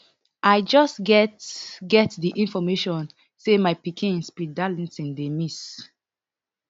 i just get get di information say my pikin speed darlington dey miss